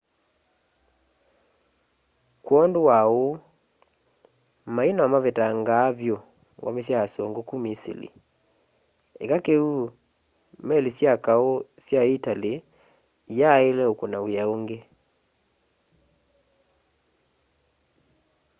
kwondu wa uu mai no mavetangaa vyu ngome sya asungu ku misili eka kiu meli sya kau sya itali iyaaile ukuna wia ungi